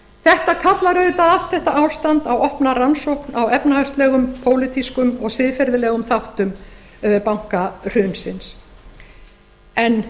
þetta kallar auðvitað allt þetta ástand á opna rannsókn á efnahagslegum pólitískum og siðferðilegum þáttum bankahrunsins en